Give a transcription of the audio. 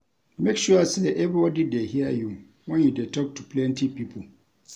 Make sure sey everybody dey hear you wen you dey tok to plenty pipo.